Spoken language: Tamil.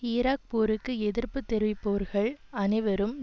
ஈராக் போருக்கு எதிர்ப்பு தெரிவிப்போர்கள் அனைவரும்